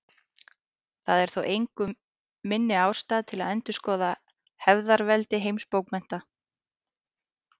Það er þó engu minni ástæða til að endurskoða hefðarveldi heimsbókmenntanna.